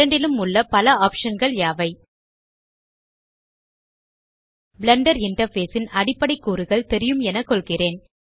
இரண்டிலும் உள்ள பல ஆப்ஷன் கள் யாவை பிளெண்டர் இன்டர்ஃபேஸ் ன் அடிப்படை கூறுகள் தெரியும் என கொள்கிறேன்